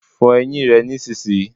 Fo eyín rè nísìnyí